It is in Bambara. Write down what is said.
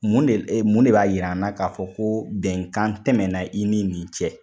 Mun de ee, mun de b'a yira an na k'a fɔ ko bɛnkan tɛmɛna i ni nin cɛ?